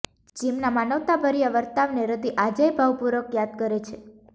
જિમના માનવતાભર્યા વર્તાવને રતિ આજેય ભાવપૂર્વક યાદ કરે છે